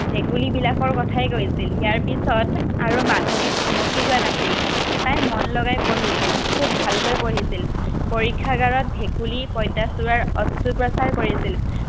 ভেকুলীবিলাকৰ কথাই কৈছিল। ইয়াৰ পিছত আৰু মাধৱী থমকি ৰোৱা নাছিল। তাই মন লগাই পঢ়িছিল। খুব ভালকৈ পঢ়িছিল। পৰীক্ষাগাৰত ভেকুলী, পইটাচোৰাৰ অস্ত্ৰোপচাৰ কৰিছিল।